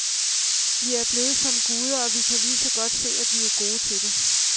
Vi er blevet som guder, og vi kan lige så godt se at blive gode til det.